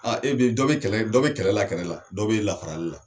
Aaae bi dɔ bɛ kɛlɛ, dɔ bɛ kɛlɛ la, kɛlɛ la, dɔ bɛ lafarali la.